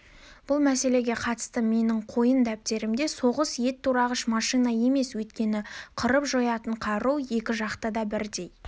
бұл мәселеге қатысты менің қойын дәптерімде соғыс ет турағыш машина емес өйткені қырып-жоятын қару екі жақта да бірдей